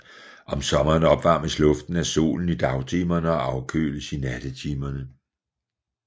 Om sommeren opvarmes luften af solen i dagtimerne og afkøles i nattetimerne